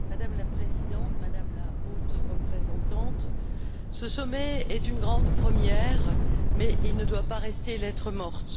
Madame la Présidente, Madame la Haute représentante, ce sommet est une grande première, mais il ne doit pas rester lettre morte.